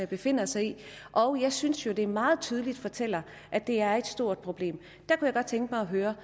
befinder sig i og jeg synes jo at det meget tydeligt fortæller at det er et stort problem jeg kunne godt tænke mig at høre